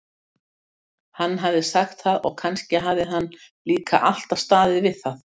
Hann hafði sagt það og kannski hafði hann líka alltaf staðið við það.